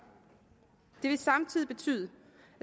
det vil samtidig betyde